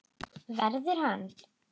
Verður hann.